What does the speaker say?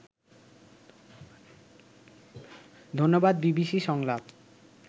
ধন্যবাদ বিবিসি সংলাপ